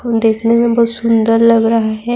دیکھنے میں بہت سندر لگ رہاہے-